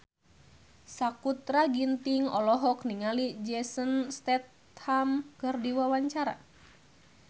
Sakutra Ginting olohok ningali Jason Statham keur diwawancara